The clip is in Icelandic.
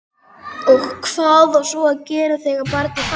Og hvað á svo að gera þegar barnið fæðist?